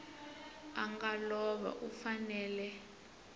a nga lova u fanele